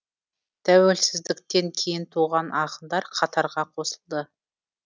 тәуелсіздіктен кейін туған ақындар қатарға қосылды